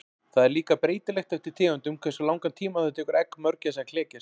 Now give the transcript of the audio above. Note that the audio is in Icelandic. Það er líka breytilegt eftir tegundum hversu langan tíma það tekur egg mörgæsa að klekjast.